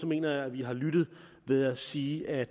mener jeg at vi har lyttet ved at sige at